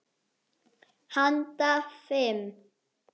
Handa fimm